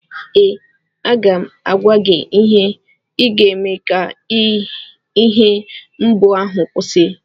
ee, aga m agwa gị ihe ị ga-eme ka ihe mgbu ahụ kwụsị